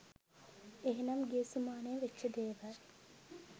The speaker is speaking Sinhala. එහෙමනම් ගිය සුමානේ වෙච්ච දේවල්